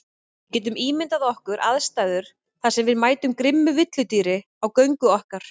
Við getum ímyndað okkar aðstæður þar sem við mætum grimmu villidýri á göngu okkar.